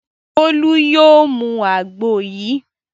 Bólú yóò mu àgbo yìí.